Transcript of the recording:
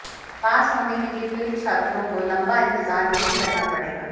पास होने के लिए फेल छात्रों को लंबा इंतजार नहीं करना पड़ेगा